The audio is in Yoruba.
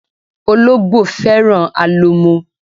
Ológbò fẹ́ràn alo mo